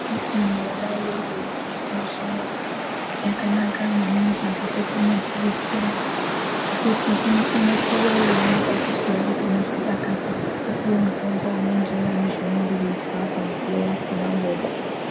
Michina yona iyoyo wechizvino zvino yakanaka maningi ngekuti inotidetsera ngekuti unopiwa veinyaso ziva kuti unozwa pakati wopiwa mutombo unoenderana nezvaynenge weizwa apapo pamukuwo wakona ona uwowo.